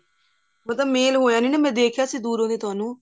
ਉਹਨਾ ਦਾ ਮੇਲ ਹੋਇਆ ਨੀ ਨਾ ਮੈਂ ਦੇਖਿਆ ਸੀ ਦੂਰੋਂ ਦੀ ਤੁਹਾਨੂੰ